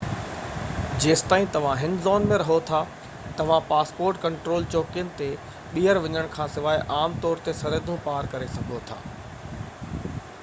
جيستائين توهان هن زون ۾ رهو ٿا توهان پاسپورٽ ڪنٽرول چوڪين تي ٻيهر وڃڻ کانسواءِ عام طور تي سرحدون پار ڪري سگهو ٿا